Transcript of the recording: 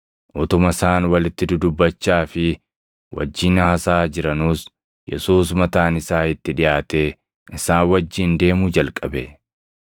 Utuma isaan walitti dudubbachaa fi wajjin haasaʼaa jiranuus Yesuus mataan isaa itti dhiʼaatee isaan wajjin deemuu jalqabe.